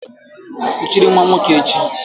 Kuchiri nwa nwoke echi!